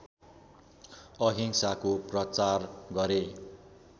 अहिंसाको प्रचार गरे